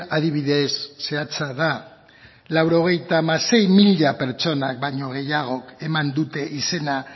adibide zehatza da laurogeita hamasei mila pertsona baino gehiagok eman dute izena